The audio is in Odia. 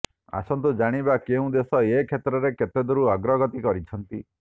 ଆସନ୍ତୁ ଜାଣିବା କେଉଁ ଦେଶ ଏ କ୍ଷେତ୍ରରେ କେତେଦୂର ଅଗ୍ରଗତି କରିଛନ୍ତି